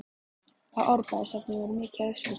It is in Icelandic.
Á Árbæjarsafnið mikið af uppskriftum?